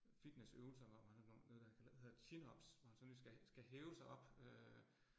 Fitnessøvelser, hvor han er blevet noget, der kalder hedder chin ups, hvor han sådan ligesom skal skal hæve sig op øh